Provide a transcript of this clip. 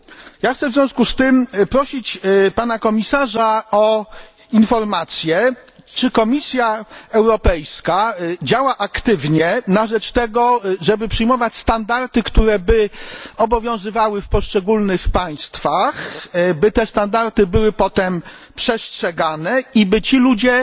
Chciałbym w związku z tym prosić Pana Komisarza o informację, czy Komisja Europejska działa aktywnie na rzecz tego, żeby przyjmować standardy, które by obowiązywały w poszczególnych państwach, by te standardy były potem przestrzegane i by ci ludzie